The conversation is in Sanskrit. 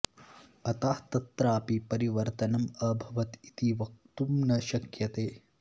अतः तत्रापि परिवर्तनम् अभवत् इति वक्तुं न शक्यते